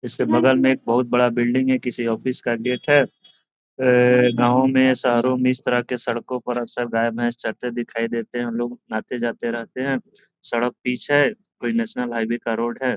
इसके बगल मे एक बहुत बड़ा इमारत है किसी ऑफिस का गेट हैगांव में या शहरो में इस तरह के सड़को पर अक्सर गाय भैंस चरते दिखाई देते हैं लोग आते-जाते रहते है सड़क पिच है कोई नेशनल हाईवे का रोड है।